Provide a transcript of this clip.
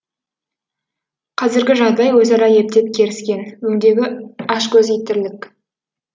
қазіргі жағдай өзара ептеп керіскен өңдегі ашкөз ит тірлік